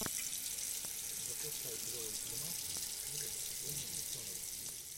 запускай клевый фильмас в стиле выступление ученого